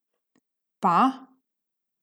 Pa?